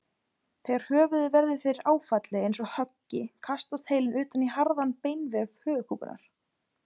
Þegar höfuðið verður fyrir áfalli eins og höggi kastast heilinn utan í harðan beinvef höfuðkúpunnar.